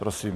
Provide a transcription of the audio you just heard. Prosím.